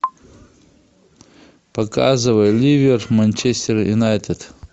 показывай ливер манчестер юнайтед